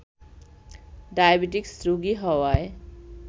diabetes রোগী হওয়ায়